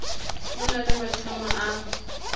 ho na le maqhama a